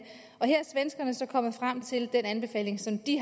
og her er svenskerne så kommet frem til den anbefaling som de